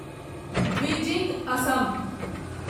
Dwijing Assam